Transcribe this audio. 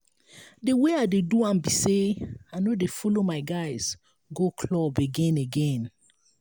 the way i dey do am be say i no dey follow my guys go club again again